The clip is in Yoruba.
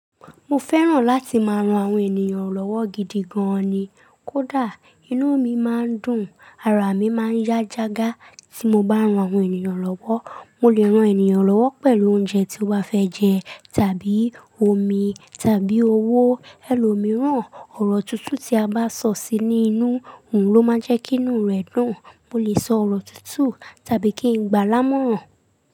Mo fẹ́ràn láti máa ran àwọn ènìyàn lọ́wọ́ gidi gan ni. Kódà inú mi máa ń dùn, ara mi máa ń yá jágá tí mo bá ń ran àwọn ènìyàn lọ́wọ́. Mo lè ran ènìyàn lọ́wọ́ pẹ̀lú oúnjẹ tí ó bá fẹ́ jẹ tàbí omi tàbí owó. Ẹ̀lò mìíràn, ọ̀rọ̀ tútù tí a bá sọ sí ní inú òun ló máa ń jẹ́ kí inú rẹ dùn. Mo lè sọ ọ̀rọ̀ tútù tàbí kí n gbà wọn mọ̀ràn.